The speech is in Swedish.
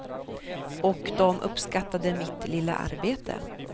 Och de uppskattade mitt lilla arbete.